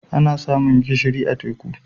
Ana samun gishiri a teku.